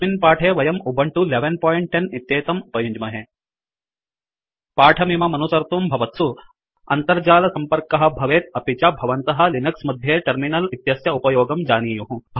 अस्मिन् पाठे वयं उबुन्तु 1110 इत्येतं उपयुञ्ज्महे पाठमिममनुसर्तुं भवत्सु अन्तर्जालसम्पर्कः भवेत् अपि च भवन्तः लिनक्स मध्ये टर्मिनल् इत्यस्य उपयोगं जानीयुः